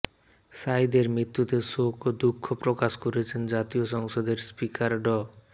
সাইদের মৃত্যুতে শোক ও দুঃখ প্রকাশ করেছেন জাতীয় সংসদের স্পিকার ড